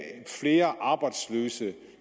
flere arbejdsløse